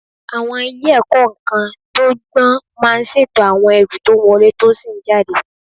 Àwọn ilé ìkó-nǹkan tó gbọ́n máa ń ṣètò àwọn ẹrù tó ń wọlé tó sì ń jáde.